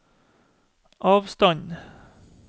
avstand